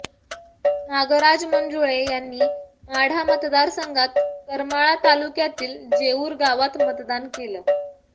नागराज मंजुळे यांनी माढा मतदार संघात करमाळा तालुक्यातील जेऊर गावात मतदान केलं